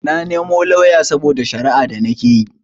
Na nemo lauya saboda shara'a da nikeyi